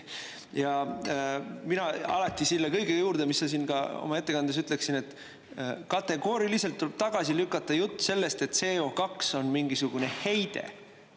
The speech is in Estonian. Ja mina alati selle kõige juurde, mis sa siin ka oma ettekandes, ütleksin, et kategooriliselt tuleb tagasi lükata jutt sellest, et CO2 on mingisugune heide.